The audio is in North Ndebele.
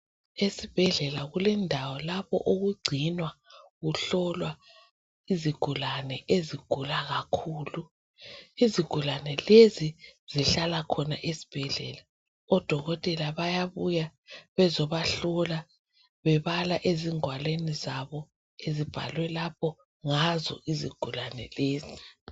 Ezibhedlela kulendawo lapho okungcinwa kuhlolwa izigulane ezigula kakhulu. Izigulane lezi zihlala khona esibhedlela odokotela bayabuya bezobahlola bebala ezingwalweni zabo ezibhalwe lapha ngazo izigulane lezi.